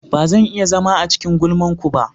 Ba zan iya zama a cikin gulman ku ba.